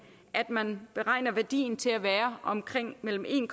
at man beregner værdien til at være omkring mellem en